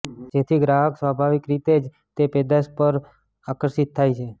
જેથી ગ્રાહક સ્વાભાવિકરીતે જ તે પેદાશ તરફ આકર્ષિત થાય છે